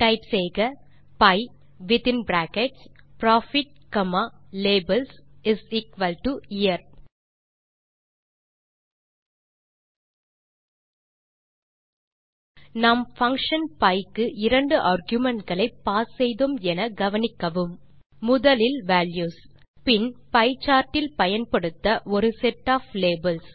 type செய்க pie within bracket profit comma labelsyear நாம் function pie க்கு இரண்டு argumentகளை பாஸ் செய்தோம் என கவனிக்கவும் முதலில் வால்யூஸ் பின் பியே சார்ட் இல் பயன்படுத்த ஒரு செட் ஒஃப் லேபல்ஸ்